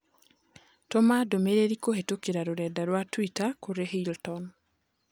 Tũma ndũmĩrĩri kũhĩtũkĩra rũrenda rũa tũita kũrĩ Hilton.